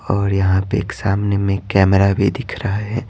और यहां पे एक सामने में कैमरा भी दिख रहा है।